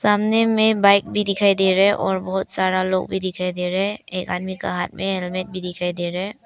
सामने में बाइक भी दिखाई दे रहा है और बहुत सारा लोग भी दिखाई दे रहे हैं। एक आदमी का हाथ में हेलमेट भी दिखाई दे रहा है।